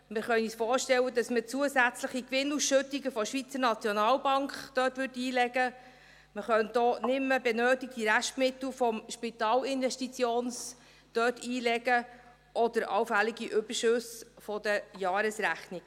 Wir können uns vorstellen, dass man zusätzliche Gewinnausschüttungen der SNB dort einlegen würde, man könnte auch nicht mehr benötigte Restmittel des SIF dort einlegen oder allfällige Überschüsse der Jahresrechnungen.